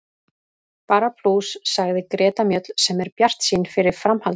Bara plús, sagði Greta Mjöll sem er bjartsýn fyrir framhaldinu.